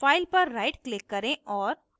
file पर rightclick करें और